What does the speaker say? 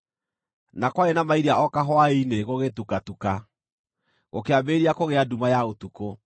na kwarĩ na mairia o kahwaĩ-inĩ gũgĩtukatuka, gũkĩambĩrĩria kũgĩa nduma ya ũtukũ.